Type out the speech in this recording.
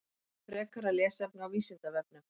Frekara lesefni á Vísindavefnum: